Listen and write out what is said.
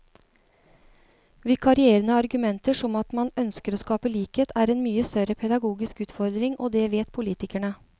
Vikarierende argumenter som at man ønsker å skape likhet, er en mye større pedagogisk utfordring, og det vet politikerne.